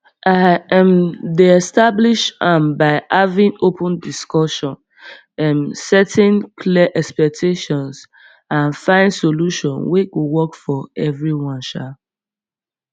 i um dey establish am by having open discussion um setting clear expectation and find solution wey go work for everyone um